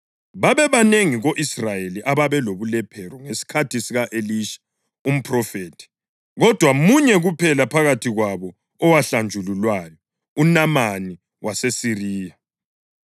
Babebanengi ko-Israyeli ababelobulephero ngesikhathi sika-Elisha umphrofethi, kodwa munye kuphela phakathi kwabo owahlanjululwayo, uNamani waseSiriya.”